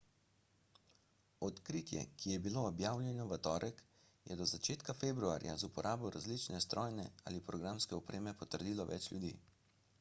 odkritje ki je bilo objavljeno v torek je do začetka februarja z uporabo različne strojne in programske opreme potrdilo več ljudi